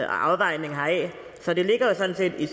afvejninger heraf så det ligger jo sådan set i